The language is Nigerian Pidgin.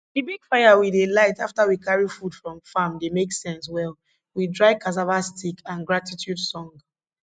di big fire we dey light afta we carry food from farm dey make sense well with dry cassava stick and gratitude song